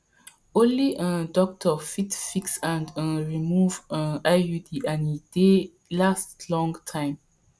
only um doctor fit fix and um remove um iud and e dey last long time